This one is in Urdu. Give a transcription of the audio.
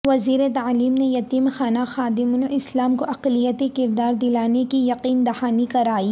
وزیر تعلیم نے یتیم خانہ خادم الاسلام کو اقلیتی کردار دلانے کی یقین دہانی کرائی